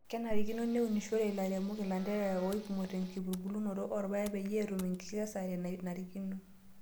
Kenarikino neunishore lairemok ilanterera oipimo tenkitubulunoto oorpaek peyie etum enkikesare nanarikino.